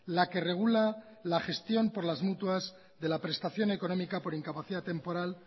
la que regula la gestión por las mutuas de la prestación económica por incapacidad temporal